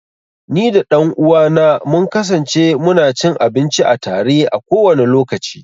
Ni da ɗan uwa na mun kasance mu na cin abinci a tare, a kowane lokaci.